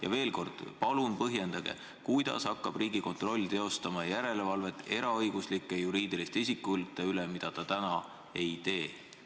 Ja veel kord, palun põhjendage, kuidas hakkab Riigikontroll teostama järelevalvet eraõiguslike juriidiliste isikute üle, mida ta praegu ei tee.